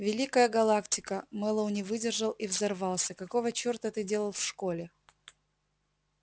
великая галактика мэллоу не выдержал и взорвался какого чёрта ты делал в школе